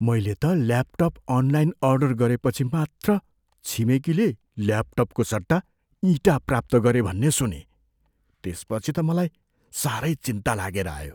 मैले त laptop online order गरिपछि मात्र छिमेकीले ल्यापटपको सट्टा इँटा प्राप्त गरे भन्ने सुनेँ। त्यसपछि त मलाई साह्रै चिन्ता लागेर आयो।